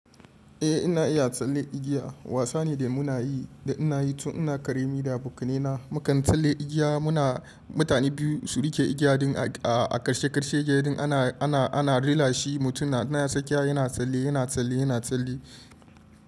Eh ina iya tsalle igiya. Wasa ne da muna yi da ina yi tun ina ƙarami da abokaina. Mukan tsalle igiya muna mutane biyu su riƙe igiya din a ƙarshe ƙarshe gidan ana, ana, ana rila shi mutum na sakiya yana tsalle, yana tsalle, yana tsalle.